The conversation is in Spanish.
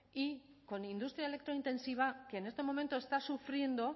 y con industria electrointensiva que en este momento está sufriendo